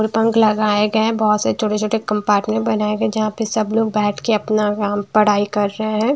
पंख लगाए गए हैं बहुत से छोटे-छोटे कंपार्टमेंट बनाए गए जहां पे सब लोग बैठ के अपना काम पढ़ाई कर रहे हैं।